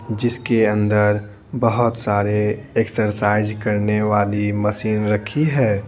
जिसके अंदर बहुत सारे एक्सरसाइज करने वाली मशीन रखी है।